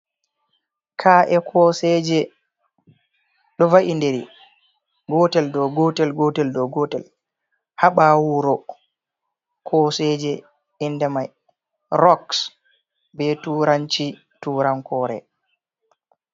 Ka’e koseje do va'indiri gotel do gotel, gotel do gotel haɓawo wuro, koseje inde mai roks be turanci turankore.